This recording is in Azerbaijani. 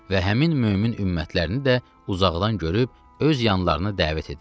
Və həmin mömin ümmətlərini də uzaqdan görüb öz yanlarını dəvət edirlər.